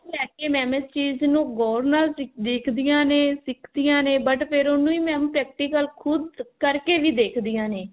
ਲੇਕੇ mam ਇਸ ਚੀਜ਼ ਨੂੰ ਗੋਰ ਨਾਲ ਦੇਖਦੀਆਂ ਨੇ ਸਿੱਖਦੀਆਂ ਨੇ but ਫ਼ੇਰ ਉਹਨੂੰ ਹੀ mam practical ਖੁਦ ਕਰਕੇ ਵੀ ਦੇਖਦੀਆਂ ਨੇ